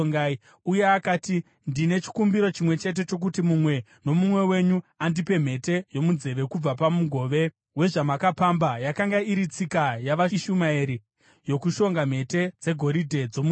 Uye akati, “Ndine chikumbiro chimwe chete, chokuti mumwe nomumwe wenyu andipe mhete yomunzeve kubva pamugove wezvamakapamba.” (Yakanga iri tsika yavaIshumaeri yokushonga mhete dzegoridhe dzomunzeve.)